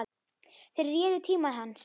Þeir réðu tíma hans.